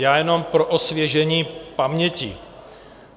Já jenom pro osvěžení paměti.